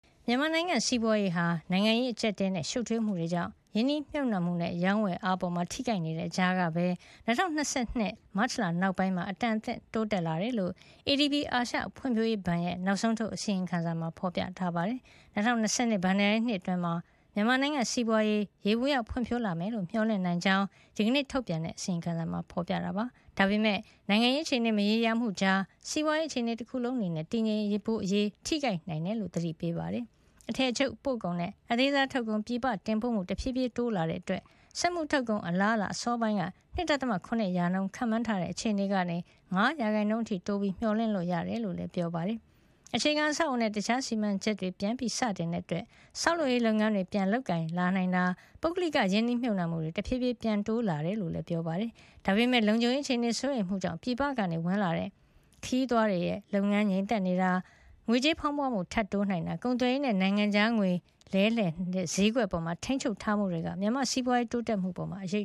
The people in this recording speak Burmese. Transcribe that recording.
မြန်မာနိုင်ငံစီးပွားရေးဟာ နိုင်ငံရေးအကြပ်အတည်းနဲ့ ရှုပ်ထွေးမှုတွေကြောင့် ရင်းနှီးမြှုပ်နှံမှုနဲ့ ရောင်းဝယ်အားအပေါ် ထိခိုက်နေတဲ့ကြားမှာပဲ ၂၀၂၂ ခုနှစ် မတ်လနောက်ပိုင်း အတန်အသင့် တိုးတက်လာခဲ့တယ်လို့ ADB အာရှ ဖွံ့ဖြိုးရေးဘဏ်ရဲ့ နောက်ဆုံးထုတ် အစီရင်ခံစာ ဖေါ်ပြပါတယ်။ ၂၀၂၂ ခုနှစ် ဘဏ္ဍာရေးနှစ်အတွင်း မြန်မာနိုင်ငံစီးပွားရေး ယေဘုယျ ဖွံ့ဖြိုးလာမယ်လို့ မျှော်လင့်နိုင် ကြောင်း ဒီနေ့ထုတ်အစီရင်ခံစာက ရေးသားပါတယ်။ ဒါပေမယ့်လည်း နိုင်ငံရေးအခြေအနေ မရေမရာမှုတွေကြားမှာ စီးပွားရေးအခြေအနေတခုလုံးအနေနဲ့ တည်ငြိမ်ဖို့အရေး ထိခိုက်သွားနိုင်တာကို ADB အာရှဖွံ့ဖြိုးရေးဘဏ်က သတိပေးပါတယ်။ အထည်ချုပ်ပို့ကုန်နဲ့ အသေးစားထုတ်ကုန် ပြည်ပတင်ပို့မှု တဖြေးဖြေးတိုးလာတဲ့အတွက် စက်မှုထုတ် ကုန် အလားအလာ စောစောပိုင်းက ၂.၇% ခန့်မှန်းထားတဲ့အခြေအနေကနေ ၅% အထိ တိုးပြီး မျှော်လင့်လို့ရတဲ့အကြောင်းကိုလည်း ADB က ရေးသားပါတယ်။ အခြေခံအဆောက်အအုံနဲ့ တခြားစီမံချက်တွေ ပြန်လည်စတင်တဲ့အတွက် ဆောက်လုပ်ရေးလုပ်ငန်းတွေ ပြန်ပြီး လုပ်ကိုင်လာနိုင်တာ၊ ပုဂ္ဂလိကရင်းနှီးမြှုပ်နှံမှုတွေ တဖြေးဖြေး ပြန်တိုးလာတာတွေကိုလည်း ADB အာရှဘဏ်ရဲ့ အစီရင်ခံစာမှာ ရေးသားထားပါတယ်။ ဒါပေမယ့်လည်း လုံခြုံရေးအခြေအနေစိုးရိမ်မှုကြောင့် ပြည်ပကဝင်လာတဲ့ ခရီးသွားလုပ်ငန်း ငြိမ်သက်နေတာ၊ ငွေကြေးဖေါင်းပွမှု ထပ်တိုးလာနိုင်တာ၊ ကုန်သွယ်ရေးနဲ့ နိုင်ငံခြားငွေလဲလှယ်တဲ့ ဈေးကွက်အပေါ် ထိမ်းချုပ်ထားမှုတွေက မြန်မာ့စီးပွားရေးတိုးတက်မှု အပေါ် အရ